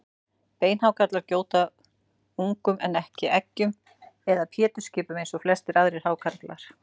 Beinhákarlar gjóta ungum en ekki eggjum eða pétursskipum eins og flestir aðrir hákarlar.